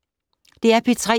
DR P3